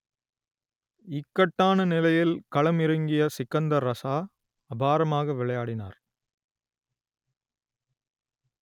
இக்கட்டான நிலையில் களமிறங்கிய சிக்கந்தர் ரஸா அபாரமாக விளையாடினார்